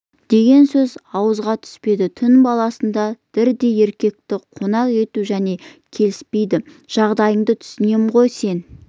деген сөз ауызға түспеді түн баласында дырдай еркекті қонақ етуі және келіспейді жағдайыңды түсінем ғой сен